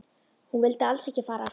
Hún vildi alls ekki fara aftur til